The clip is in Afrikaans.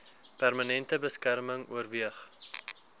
permanente beskerming oorweeg